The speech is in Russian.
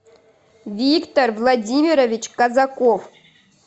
виктор владимирович казаков